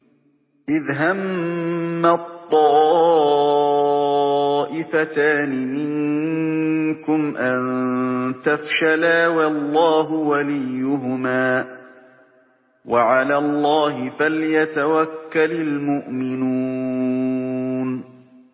إِذْ هَمَّت طَّائِفَتَانِ مِنكُمْ أَن تَفْشَلَا وَاللَّهُ وَلِيُّهُمَا ۗ وَعَلَى اللَّهِ فَلْيَتَوَكَّلِ الْمُؤْمِنُونَ